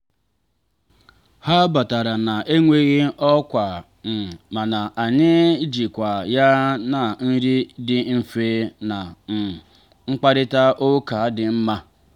ha batara na-enweghị ọkwa um mana anyị jikwaa ya na nri dị mfe na um mkparịta ụka dị mma